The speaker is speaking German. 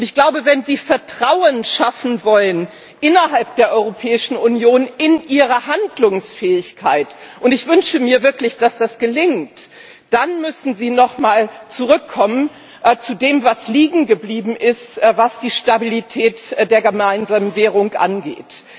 Ich glaube, wenn Sie Vertrauen schaffen wollen innerhalb der Europäischen Union, in ihre Handlungsfähigkeit und ich wünsche mir wirklich, dass das gelingt dann müssen Sie nochmal zurückkommen zu dem, was liegen geblieben ist, was die Stabilität der gemeinsamen Währung angeht.